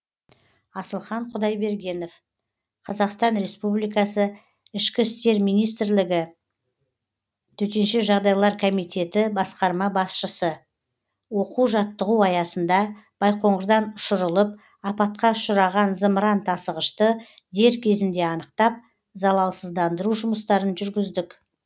асылхан құдайбергенов қазақстан республикасы ішкі істер министрлігі төтенше жағдайлар комитеті басқарма басшысы оқу жаттығу аясында байқоңырдан ұшырылып апатқа ұшыраған зымырантасығышты дер кезінде анықтап залалсыздандыру жұмыстарын жүргіздік